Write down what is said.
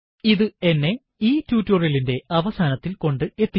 ഇത് എന്നെ ഈ ടുടോരിയലിന്റെ അവസാനത്തിൽ കൊണ്ട് എത്തിച്ചിരിക്കുന്നു